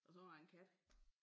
Og så har jeg en kat